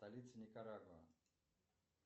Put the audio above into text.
столица никарагуа